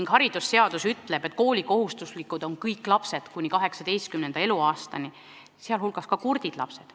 Ja haridusseadus ütleb, et koolikohustuslased on kõik lapsed kuni 18. eluaastani, sealhulgas ka kurdid lapsed.